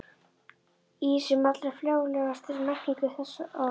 Í sem allra frjálslegastri merkingu þess orðs.